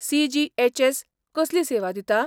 CGHS. कसली सेवा दिता?